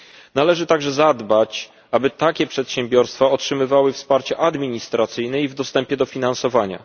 Należy także zadbać, aby takie przedsiębiorstwa otrzymywały wsparcie administracyjne i w dostępie do finansowania.